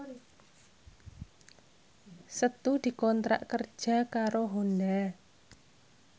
Setu dikontrak kerja karo Honda